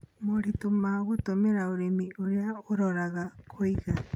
Moritũ ma gũtũmĩra ũrĩmi ũrĩa ũroraga kũiga.